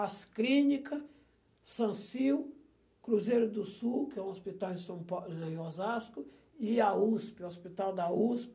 As Clínica, Sancil, Cruzeiro do Sul, que é um hospital em São pa, lá em Osasco, e a Usp, o hospital da Usp.